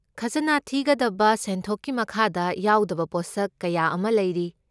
ꯈꯖꯅꯥ ꯊꯤꯒꯗꯕ ꯁꯦꯟꯊꯣꯛꯀꯤ ꯃꯈꯥꯗ ꯌꯥꯎꯗꯕ ꯄꯣꯠꯁꯛ ꯀꯌꯥ ꯑꯃ ꯂꯩꯔꯤ꯫